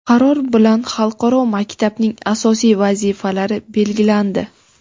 Qaror bilan xalqaro maktabning asosiy vazifalari belgilandi.